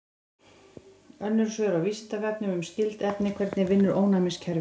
Önnur svör á Vísindavefnum um skyld efni: Hvernig vinnur ónæmiskerfið?